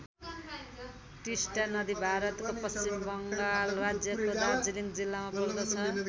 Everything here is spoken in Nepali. टिस्टा नदी भारतको पश्चिम बङ्गाल राज्यको दार्जिलिङ जिल्लामा पर्दछ।